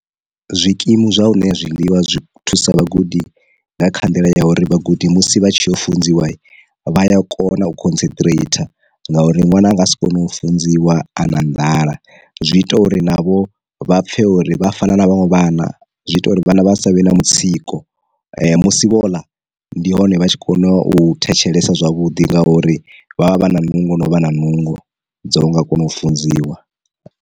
Zwikimu zwa u ṋea zwiḽiwa zwi thusa vhagudi nga kha nḓila ya uri vhagudi musi vha tshi funziwa vha ya kona u concentrator nga uri ṅwana a nga si kone u funziwa a na nḓala, zwi ita uri navho vha pfhe uri vha fana na vhaṅwe vhana, zwi ita uri vhana vha savhe na mutsiko musi vhoḽa, ndi hone vha tshi kona u thetshelesa zwavhuḓi ngauri vha vha vha na nungo no vha na nungo dzo nga kona u funziwa.